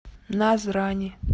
назрани